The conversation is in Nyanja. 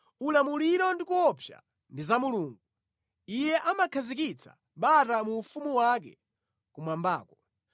“Ulamuliro ndi kuopsa ndi za Mulungu, Iye amakhazikitsa bata mu ufumu wake kumwambako.